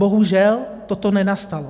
Bohužel toto nenastalo.